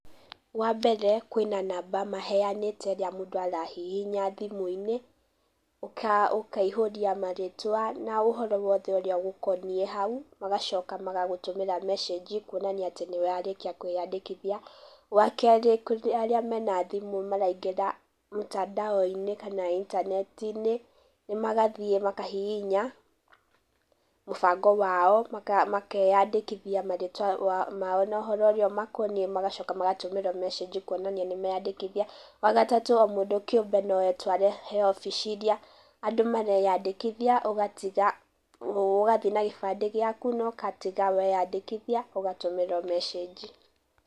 Wa mbere kwĩna namba maheanĩte ĩrĩa mũndũ arahihinya thimũ-inĩ, ũkaihũria marĩtwa na ũhoro wothe ũrĩa ũgũkoniĩ hau, magacoka magagũtũmĩra mecĩji kuonania atĩ nĩ warĩkia kwĩyandĩkithia. Wa kerĩ kũrĩ arĩa mena thimũ maraingĩra mtandao inĩ kana intaneti-inĩ, magathiĩ makahihinya mũbango wao, makeyandĩkithia marĩtwa mao na ũhoro ũrĩa ũmakoniĩ, magacoka magatũmĩrwo mecĩji kuonania nĩ meyandĩkithia. Wa gatatũ o mũndũ kĩũmbe no etware he obici iria andũ mareyandĩkithia, ũgatiga, ũgathiĩ na gĩbandĩ gĩaku na ũgatiga weyandĩkithia ũgatũmĩrwo mecĩji.